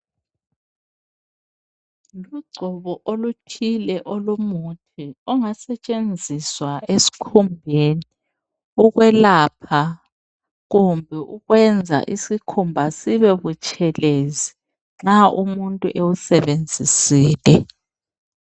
Ugcobo oluthile olungasetsgenziswa ukulapha loba ukwenza iskhumba sibe butshelezi nxa umuntu ewusebenzisile.